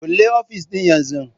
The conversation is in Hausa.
Kulle ofis ɗin yanzu!